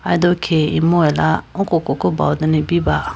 aye do khege imu ala oko koko bawedane ibiba.